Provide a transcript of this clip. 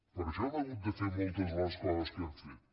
per això hem hagut de fer moltes de les coses que hem fet